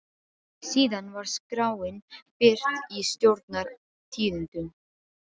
Síðan var skráin birt í Stjórnar- tíðindum.